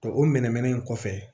o mɛnɛmɛnɛ in kɔfɛ